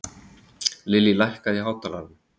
Lily, hækkaðu í hátalaranum.